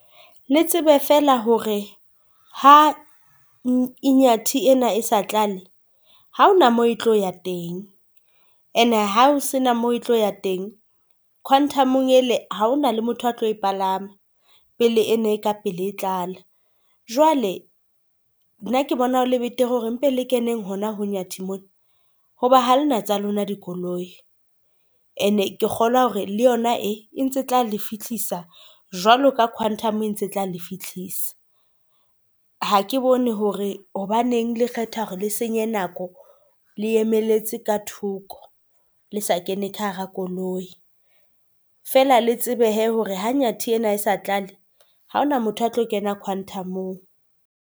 Le tsebe fela hore ha Inyathi ena e sa tlale, ha hona moo e tlo ya teng ene ha o se na mo e tlo ya teng. Quantum-ong ele ha hona le motho a tlo e palama pele eno e ka pele e tlala. Jwale nna ke bona ho le betere hore mpe le keneng hona ho Inyathi mona, hoba ha lena tsa lona dikoloi, ]. And-e ke kgolwa hore le yona e e ntse tla le fihlisa jwalo ka Quantum, e ntse tla le fihlisa. Ha ke bone hore hobaneng le kgetha hore le senye nako le emelletse ka thoko le sa kene ka hara koloi. Fela le tsebe hee hore ha Inyathi ena e sa tlale, ha hona motho a tlo kena Quantum-ong.